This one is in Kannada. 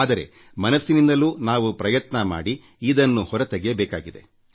ಆದರೆ ಮನಸ್ಸಿನಿಂದಲೂ ನಾವು ಪ್ರಯತ್ನ ಮಾಡಿ ಇದನ್ನು ಹೊರ ತೆಗೆಯಬೇಕಿದೆ